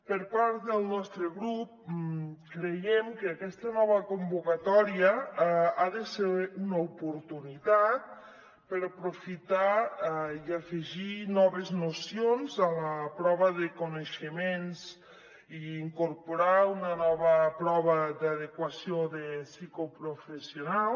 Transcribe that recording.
per part del nostre grup creiem que aquesta nova convocatòria ha de ser una oportunitat per aprofitar i afegir noves nocions a la prova de coneixements i incorporar una nova prova d’adequació psicoprofessional